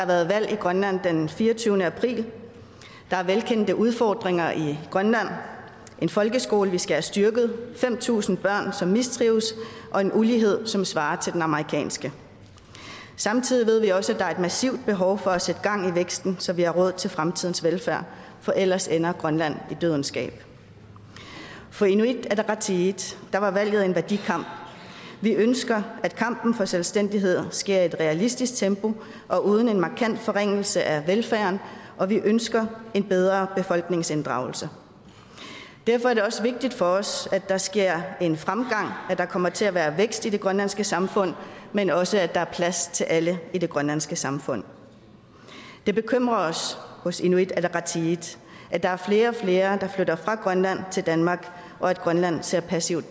der valg i grønland den fireogtyvende april der er velkendte udfordringer i grønland en folkeskole vi skal have styrket fem tusind børn som mistrives og en ulighed som svarer til den amerikanske samtidig ved vi også at der er et massivt behov for at sætte gang i væksten så vi har råd til fremtidens velfærd for ellers ender grønland i dødens gab for inuit ataqatigiit var valget en værdikamp vi ønsker at kampen for selvstændighed sker i et realistisk tempo og uden en markant forringelse af velfærden og vi ønsker en bedre befolkningsinddragelse derfor er det også vigtigt for os at der sker en fremgang og at der kommer til at være vækst i det grønlandske samfund men også at der er plads til alle i det grønlandske samfund det bekymrer os hos inuit ataqatigiit at der er flere og flere der flytter fra grønland til danmark og at grønland ser passivt